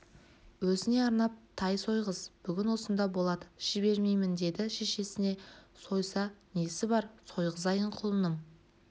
өзіне арнап тай сойғыз бүгін осында болады жібермеймін деді шешесіне сойса несі бар сойғызайын құлыным